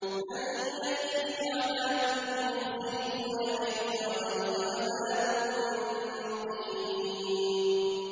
مَن يَأْتِيهِ عَذَابٌ يُخْزِيهِ وَيَحِلُّ عَلَيْهِ عَذَابٌ مُّقِيمٌ